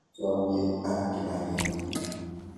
Chamyet ak kipakenge.